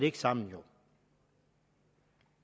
ikke sammen